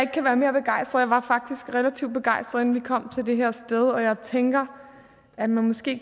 kan være mere begejstret jeg var faktisk relativt begejstret inden vi kom til det her sted og jeg tænker at man måske